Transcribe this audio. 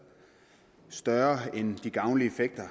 større end de gavnlige effekter